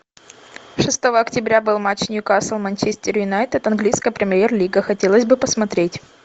шестого октября был матч ньюкасл манчестер юнайтед английская премьер лига хотелось бы посмотреть